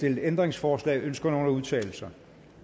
ændringsforslag ønsker nogen at udtale sig